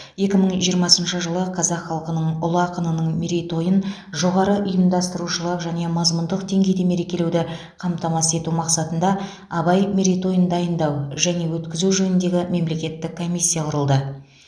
екі мың жиырмасыншы жылы қазақ халқының ұлы ақынының мерейтойын жоғары ұйымдастырушылық және мазмұндық деңгейде мерекелеуді қамтамасыз ету мақсатында абай мерейтойын дайындау және өткізу жөніндегі мемлекеттік комиссия құрылды